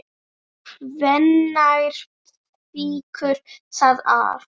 Hvenær fýkur það af?